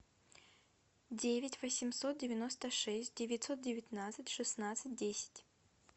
девять восемьсот девяносто шесть девятьсот девятнадцать шестнадцать десять